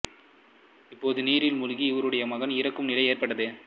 அப்போது நீரில் மூழ்கி இவருடைய மகன் இறக்கும் நிலை ஏற்பட்டது